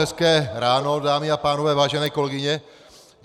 Hezké ráno, dámy a pánové, vážené kolegyně.